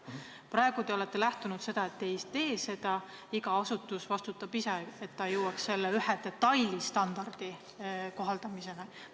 Praegu te olete lähtunud sellest, et te ei tee seda, iga asutus vastutab ise, et ta jõuaks selle ühe detailstandardi kohaldamiseni.